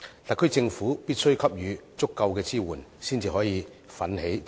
特區政府必須給予足夠支援，才可以奮起直追。